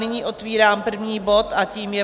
Nyní otvírám první bod a tím je